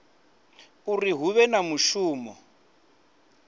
uri hu vhe na mushumo